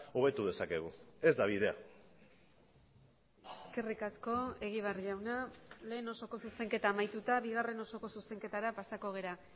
hobetu dezakegu ez da bidea eskerrik asko egibar jauna lehen osoko zuzenketa amaituta bigarren osoko zuzenketara pasako gara